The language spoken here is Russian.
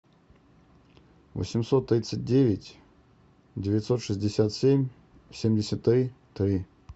восемьсот тридцать девять девятьсот шестьдесят семь семьдесят три три